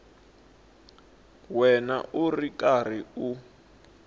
wena u ri karhi u